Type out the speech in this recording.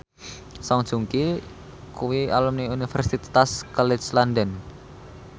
Song Joong Ki kuwi alumni Universitas College London